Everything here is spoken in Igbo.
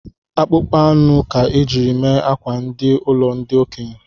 Akpụkpọ anụ ka ọ jiri mee akwa di n’ụlọ ndi okenye